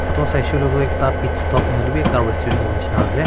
etu saise koile tu ekta pitstop na hoile bhi ekta rasturant hobo nisna ase.